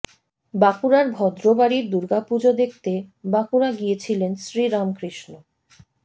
বাঁকুড়ার ভদ্র বাড়ির দুর্গা পুজো দেখতে বাঁকুড়া গিয়েছিলেন শ্রীরামকৃষ্ণ